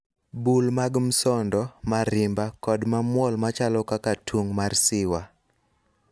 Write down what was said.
bul mag msondo, marimba kod mamuol machalo kaka tung' mar siwa.